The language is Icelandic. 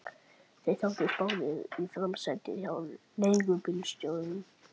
Þeir settust báðir í framsætið hjá leigubílstjóranum.